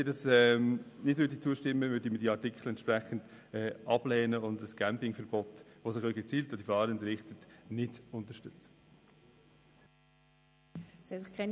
Wenn Sie den Rückweisungsanträgen nicht zustimmen, werden wir die Artikel ablehnen und ein Campierverbot, das sich gezielt gegen die Fahrenden richtet, nicht unterstützen.